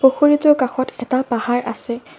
পুখুৰীটোৰ কাষত এটা পাহাৰ আছে।